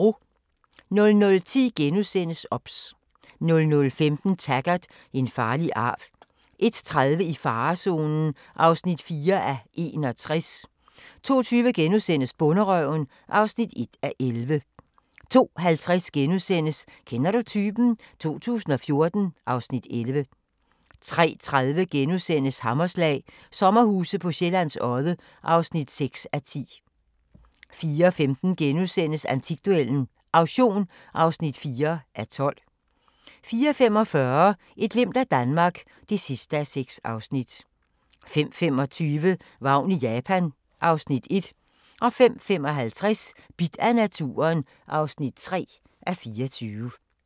00:10: OBS * 00:15: Taggart: En farlig arv 01:30: I farezonen (4:61) 02:20: Bonderøven (1:11)* 02:50: Kender du typen? 2014 (Afs. 11)* 03:30: Hammerslag - sommerhuse på Sjællands Odde (6:10)* 04:15: Antikduellen – Auktion (4:12)* 04:45: Et glimt af Danmark (6:6) 05:25: Vagn i Japan (Afs. 1) 05:55: Bidt af naturen (3:24)